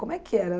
Como é que era?